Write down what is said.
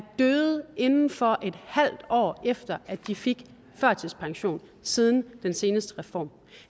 døde inden for et halvt år efter at de fik førtidspension siden den seneste reform